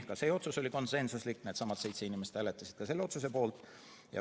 Ka see otsus oli konsensuslik, needsamad seitse inimest hääletasid selle otsuse poolt.